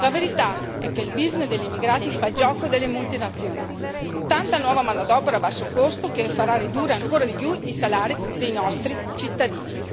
La verità è che il business degli immigrati fa il gioco delle multinazionali tanta nuova manodopera a basso costo che farà ridurre ancora di più i salari dei nostri cittadini.